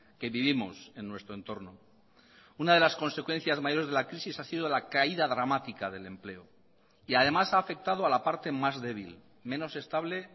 que vivimos en nuestro entorno una de las consecuencias mayores de la crisis ha sido la caída dramática del empleo y además ha afectado a la parte más débil menos estable